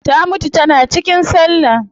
Ta mutu tana cikin sallah